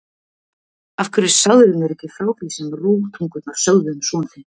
Af hverju sagðirðu mér ekki frá því sem rógtungurnar sögðu um son þinn?